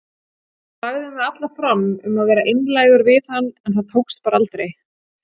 Lagði mig allan fram um að vera einlægur við hann en það tókst bara aldrei.